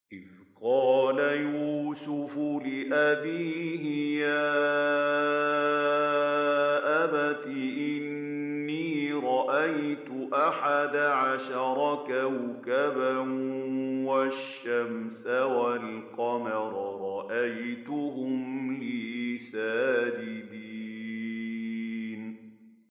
إِذْ قَالَ يُوسُفُ لِأَبِيهِ يَا أَبَتِ إِنِّي رَأَيْتُ أَحَدَ عَشَرَ كَوْكَبًا وَالشَّمْسَ وَالْقَمَرَ رَأَيْتُهُمْ لِي سَاجِدِينَ